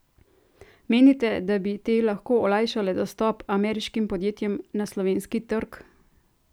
Menite, da bi te lahko olajšale dostop ameriškim podjetjem na slovenski trg?